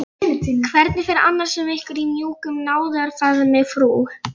Hvernig fer annars um ykkur í mjúkum náðarfaðmi frú